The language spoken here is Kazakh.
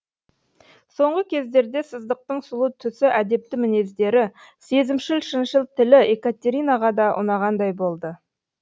соңғы кездерде сыздықтың сұлу түсі әдепті мінездері сезімшіл шыншыл тілі екатеринаға да ұнағандай болды